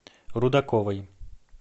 рудаковой